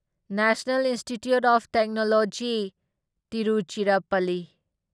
national institute of technology Tiruchirappalli